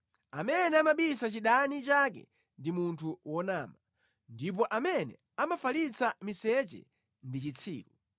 Amene amabisa chidani chake ndi munthu wonama, ndipo amene amafalitsa miseche ndi chitsiru.